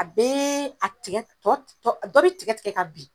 A bɛɛ a tigɛ t tɔ tɔ ɔ dɔ bi tigɛ-tigɛ ka bin.